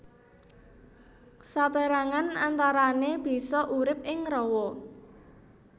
Sapérangan antarané bisa urip ing rawa